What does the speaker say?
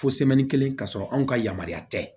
Fo kelen ka sɔrɔ anw ka yamaruya tɛ